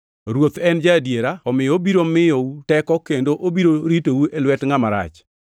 Ruoth en ja-adiera, omiyo obiro miyou teko kendo obiro ritou e lwet Ngʼama Rach.